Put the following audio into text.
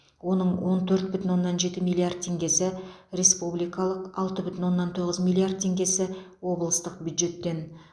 оның он төрт бүтін оннан жеті миллиард теңгесі республикалық алты бүтін оннан тоғыз миллиард теңгесі облыстық бюджеттен